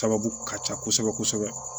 Sababu ka ca kosɛbɛ kosɛbɛ